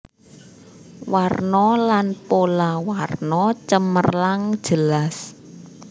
Warna lan pola warna cemerlang jelas